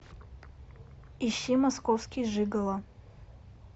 ищи московский жигало